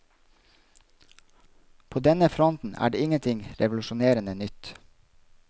På denne fronten er det ingenting revolusjonerende nytt.